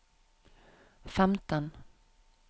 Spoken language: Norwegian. femten